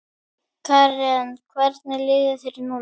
Karen: Hvernig líður þér núna?